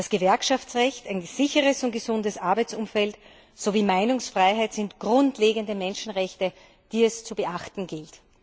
Das Gewerkschaftsrecht, ein sicheres und gesundes Arbeitsumfeld sowie Meinungsfreiheit sind grundlegende Menschenrechte, die es zu beachten gilt.